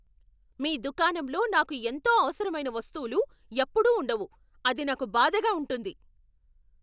మీ దుకాణంలో నాకు ఎంతో అవసరమైన వస్తువులు ఎప్పుడూ ఉండవు, అది నాకు బాధగా ఉంటుంది.